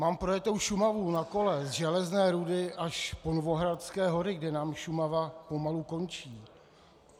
Mám projetou Šumavu na kole z Železné Rudy až po Novohradské hory, kde nám Šumava pomalu končí.